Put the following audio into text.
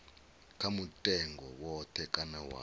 kha mutengo woṱhe kana wa